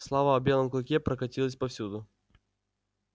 слава о белом клыке прокатилась повсюду